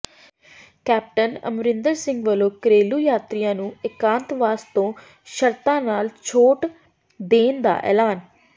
captain Amarinder Singh ਵੱਲੋਂ ਘਰੇਲੂ ਯਾਤਰੀਆਂ ਨੂੰ ਏਕਾਂਤਵਾਸ ਤੋਂ ਸ਼ਰਤਾਂ ਨਾਲ ਛੋਟ ਦੇਣ ਦਾ ਐਲਾਨ